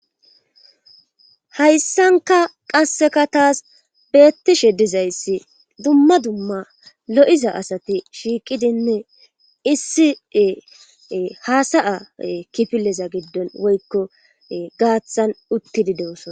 Haysanka qaseka tas betishe dizaysi duma duma lo'iza asati shiqidine issi hasayaza kifilezs gathan shiqidine uttidi dosona